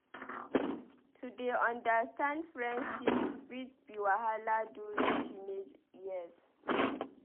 To dey understand friendships fit be wahala during teenage years.